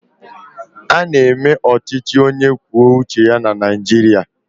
Ána eme ọchịchị onye kwuo uche ya na Naịjirịa